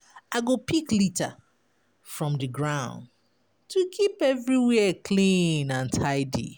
I go pick litter from di ground to keep everywhere clean and tidy.